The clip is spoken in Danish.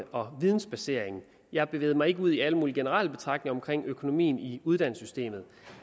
og vidensbaseringen jeg bevægede mig ikke ud i alle mulige generelle betragtninger om økonomien i uddannelsessystemet